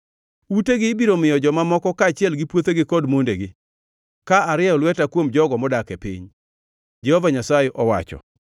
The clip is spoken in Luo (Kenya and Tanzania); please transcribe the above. Utegi ibiro miyo joma moko, kaachiel gi puothegi kod mondegi, ka arieyo lweta kuom jogo modak e piny,” Jehova Nyasaye owacho.